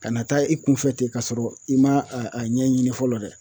Kana taa i kunfɛ ten ka sɔrɔ i ma a a ɲɛɲini fɔlɔ dɛ